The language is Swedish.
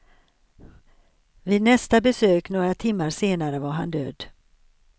Vid nästa besök några timmar senare var han död.